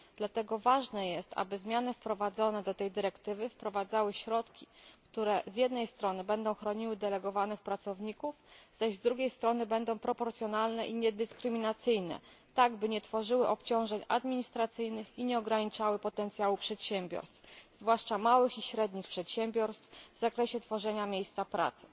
Dlatego ważne jest, aby zmiany wprowadzone do tej dyrektywy wprowadzały środki, które z jednej strony będą chroniły delegowanych pracowników, zaś z drugiej strony będą proporcjonalne i niedyskryminacyjne, tak aby nie tworzyły obciążeń administracyjnych i nie ograniczały potencjału przedsiębiorstw, zwłaszcza małych i średnich przedsiębiorstw, w zakresie tworzenia miejsc pracy.